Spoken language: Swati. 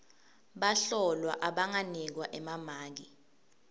bahlolwa abanganikwa emamaki